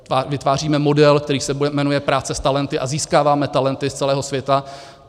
Vytváříme model, který se jmenuje práce s talenty, a získáváme talenty z celého světa.